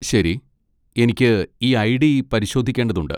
ശരി, എനിക്ക് ഈ ഐഡി പരിശോധിക്കേണ്ടതുണ്ട്.